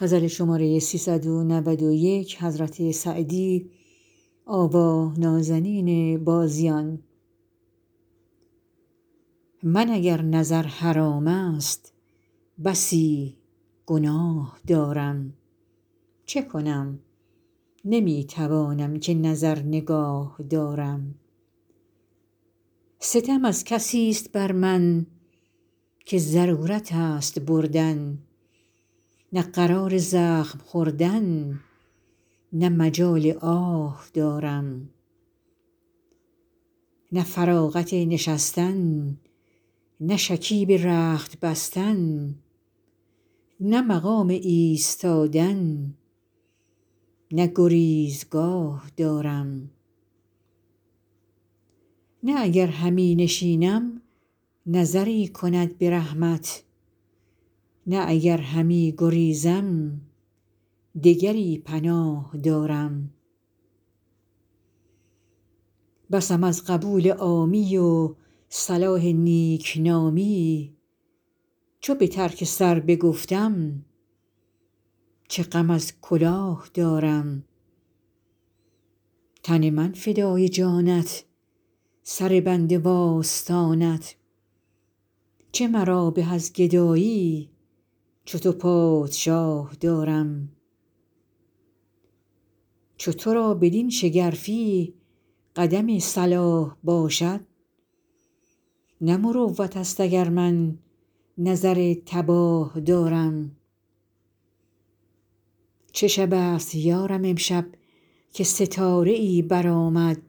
من اگر نظر حرام است بسی گناه دارم چه کنم نمی توانم که نظر نگاه دارم ستم از کسیست بر من که ضرورت است بردن نه قرار زخم خوردن نه مجال آه دارم نه فراغت نشستن نه شکیب رخت بستن نه مقام ایستادن نه گریزگاه دارم نه اگر همی نشینم نظری کند به رحمت نه اگر همی گریزم دگری پناه دارم بسم از قبول عامی و صلاح نیکنامی چو به ترک سر بگفتم چه غم از کلاه دارم تن من فدای جانت سر بنده وآستانت چه مرا به از گدایی چو تو پادشاه دارم چو تو را بدین شگرفی قدم صلاح باشد نه مروت است اگر من نظر تباه دارم چه شب است یا رب امشب که ستاره ای برآمد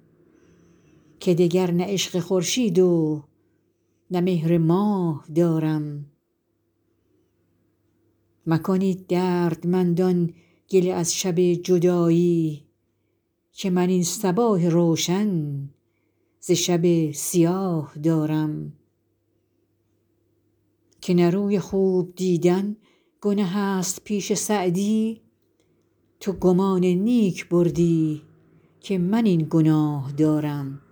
که دگر نه عشق خورشید و نه مهر ماه دارم مکنید دردمندان گله از شب جدایی که من این صباح روشن ز شب سیاه دارم که نه روی خوب دیدن گنه است پیش سعدی تو گمان نیک بردی که من این گناه دارم